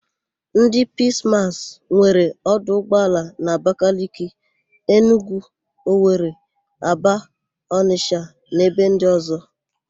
Ndị Piis Maas nwere 'ọdụ ụgbọala na: Abakaliki, Enugwu, Owere, Aba, Ọnịsha na ebe ndị ọ̀zọ́.